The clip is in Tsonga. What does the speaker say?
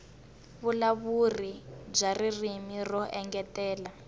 vuvulavuri bya ririmi ro engetela